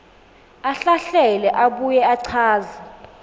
ahlahlele abuye achaze